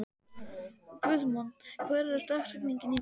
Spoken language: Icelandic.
Guðmon, hver er dagsetningin í dag?